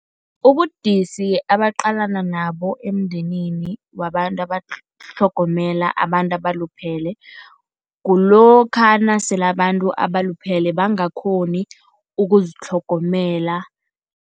Ubudisi abaqalana nabo emndenini wabantu abatlhogomela abantu abaluphele, kulokha nasele abantu abaluphele bangakghoni ukuzitlhogomela.